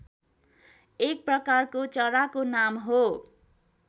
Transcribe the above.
एक प्रकारको चराको नाम हो